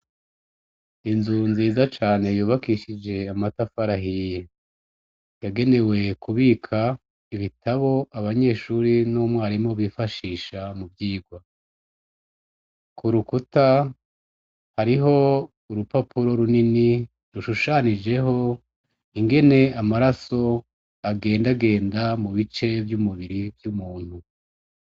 Inzu nziza cane yubakishije amatafari ahiye yagenewe kubika ibitabo abanyeshure n'umwarimu bifashisha mu kwiga, ku rukuta hariho urupapuro runini rushushanijeho ingene amaraso agendagenda mu bice vy'umubiri w'umuntu.